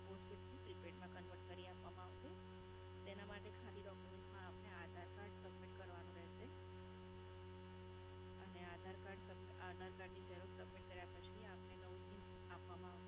postpaid થી prepaid માં convert કરી આપવામાં આવસે તેનાં માટે ખાલી documents માં આપને aadhar card submit કરવાનું રહેશે અને aadhar card, aadhar card ની xerox submit કર્યા પછી આપને નવું SIM આપવામાં આવશે.